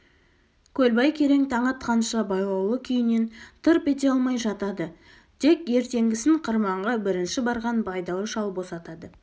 көлбай керең таң атқанша байлаулы күйінен тырп ете алмай жатады тек ертеңгісін қырманға бірінші барған байдалы шал босатады